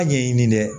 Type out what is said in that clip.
A ɲɛɲini dɛ